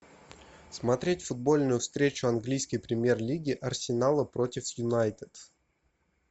смотреть футбольную встречу английской премьер лиги арсенала против юнайтед